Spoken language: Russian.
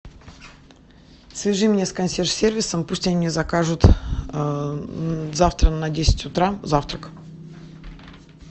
свяжи меня с консьерж сервисом пусть они мне закажут завтра на десять утра завтрак